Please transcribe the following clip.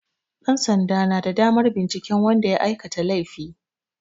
Ɗansanda na da damar binciken wanda ya aikata laifi.